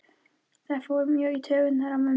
Það fór mjög í taugarnar á mömmu.